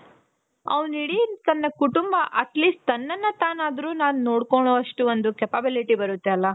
ಅವ್ನು ಇಡೀ ತನ್ನ ಕುಟುಂಬ atleast ತನ್ನನ್ನ ತಾನಾದ್ರೂ ನೋಡ್ಕೊಳೋ ಅಷ್ಟು ಒಂದು capability ಬರುತ್ತೆ ಅಲ